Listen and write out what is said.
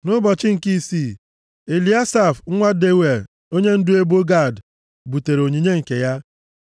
Nʼụbọchị nke isii, Eliasaf nwa Deuel onyendu ebo Gad butere onyinye nke ya.